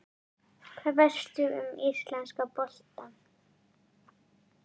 Hvað veistu um íslenska boltann?